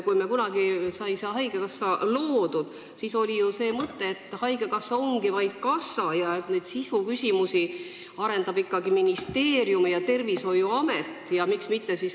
Kui kunagi sai haigekassa loodud, siis oli ju mõte, et haigekassa ongi vaid kassa ning sisuküsimusi lahendavad ikkagi ministeerium ja tervishoiuamet.